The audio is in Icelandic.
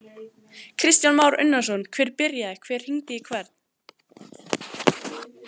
Kristján Már Unnarsson: Hver byrjaði, hver hringdi í hvern?